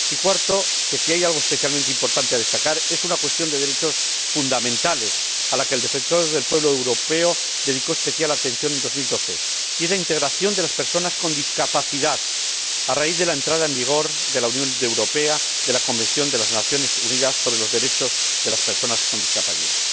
y cuarto, que, si hay algo especialmente importante que destacar, es una cuestión de derechos fundamentales a la que el Defensor del Pueblo Europeo dedicó especial atención en 2012 la integración de personas con discapacidad a raíz de la entrada en vigor en la Unión Europea de la Convención de las Naciones Unidas sobre los derechos de las personas con discapacidad.